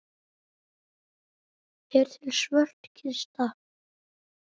Er til svört kista?